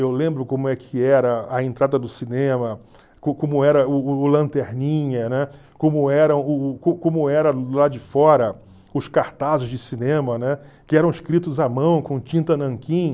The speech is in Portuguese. Eu lembro como é que era a entrada do cinema, co como era o o o lanterninha, né, como era como era do lado de fora os cartazes de cinema, né, que eram escritos à mão com tinta nanquim.